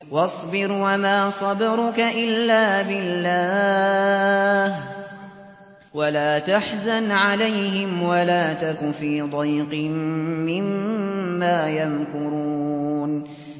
وَاصْبِرْ وَمَا صَبْرُكَ إِلَّا بِاللَّهِ ۚ وَلَا تَحْزَنْ عَلَيْهِمْ وَلَا تَكُ فِي ضَيْقٍ مِّمَّا يَمْكُرُونَ